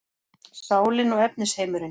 Sálin og efnisheimurinn